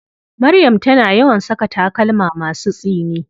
Maryam tana yawan saka takalma masu tsini.